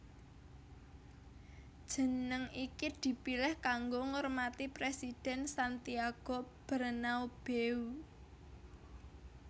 Jeneng iki dipilih kanggo ngurmati Presiden Santiago Bernabeu